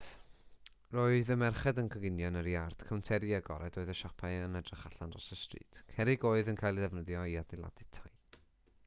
roedd y merched yn coginio yn yr iard cownteri agored oedd y siopau yn edrych allan dros y stryd cerrig oedd yn cael eu defnyddio i adeiladu tai